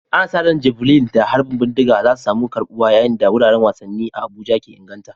Ana sa ran Javelin da harbin bindiga za su samu karbuwa yayin da wuraren wasanni a Abuja ke inganta.